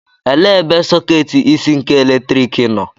Elee ebe sọketi isi nke eletriki nọ?